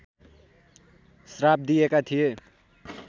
श्राप दिएका थिए